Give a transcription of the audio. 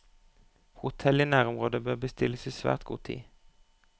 Hotell i nærområdet bør bestilles i svært god tid.